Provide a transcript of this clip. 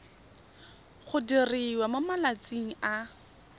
go diriwa mo malatsing a